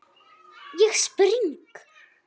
Ég spring.